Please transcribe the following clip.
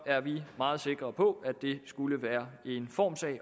er vi meget sikre på at det skulle være en formssag